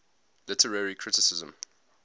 literary criticism